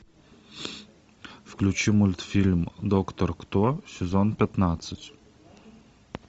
включи мультфильм доктор кто сезон пятнадцать